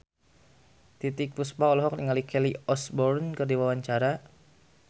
Titiek Puspa olohok ningali Kelly Osbourne keur diwawancara